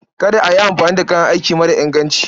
Kada a yi amfani da kayan aiki mara inganci.